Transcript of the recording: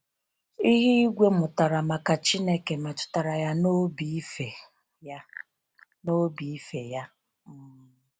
Ihe ìgwè mụtara maka Chineke metụtara ya n'obi ife ya. n'obi ife ya. um